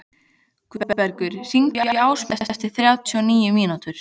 Guðbergur, hringdu í Ásmundu eftir þrjátíu og níu mínútur.